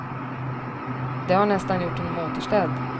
Det har nästan gjort honom återställd.